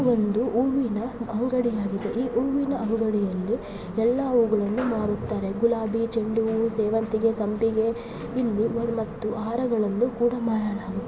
ಬಂದು ಹೂವಿನ ಅಂಗಡಿ ಇದೆ ಈ ಹೂವಿನ ಅಂಗಡಿಯಲ್ಲಿ ಎಲ್ಲಾ ಹೂಗಳನ್ನು ಮಾರುತ್ತಾರೆ ಗುಲಾಬಿ ಚೆಂಡು ಸೇವಂತಿಗೆ ಸಂಪಿಗೆ ಇಂದು ಅವ್ರ್ ಮತ್ತು ಹಾರಗಳನ್ನುಕೂಡ ಮಾರಲ್ಲಾ--